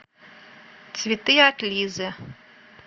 цветы от лизы